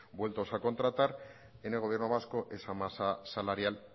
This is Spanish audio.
vueltos a contratar en el gobierno vasco esa masa salarial